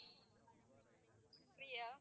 Priya